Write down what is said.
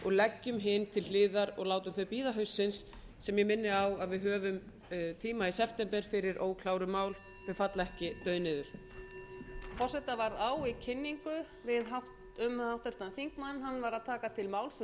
forseta varð á í kynningu um háttvirtan þingmann hann var að taka til máls um atkvæðagreiðsluna en ekki um tillögu forseta til kvöldfundar þegar tillaga forseta liggur til um